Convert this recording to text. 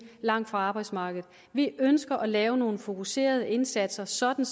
langt fra arbejdsmarkedet vi ønsker at lave nogle fokuserede indsatser sådan